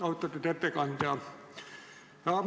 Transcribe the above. Austatud ettekandja!